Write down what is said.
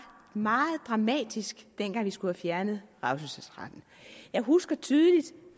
meget dramatisk dengang vi skulle have fjernet revselsesretten jeg husker tydeligt at